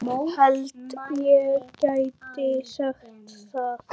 Held ég geti sagt það.